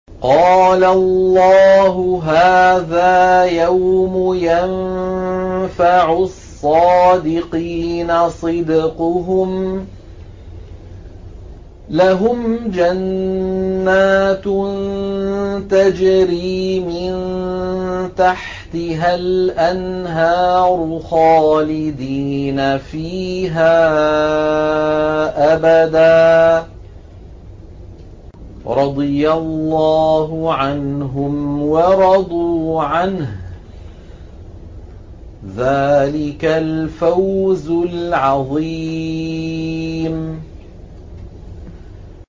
قَالَ اللَّهُ هَٰذَا يَوْمُ يَنفَعُ الصَّادِقِينَ صِدْقُهُمْ ۚ لَهُمْ جَنَّاتٌ تَجْرِي مِن تَحْتِهَا الْأَنْهَارُ خَالِدِينَ فِيهَا أَبَدًا ۚ رَّضِيَ اللَّهُ عَنْهُمْ وَرَضُوا عَنْهُ ۚ ذَٰلِكَ الْفَوْزُ الْعَظِيمُ